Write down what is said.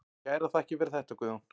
Kærar þakkir fyrir þetta Guðjón.